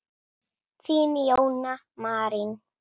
Þín, Jóna Marín.